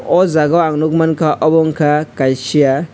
oh jagao ang nukmankha obo ungkha kaisa.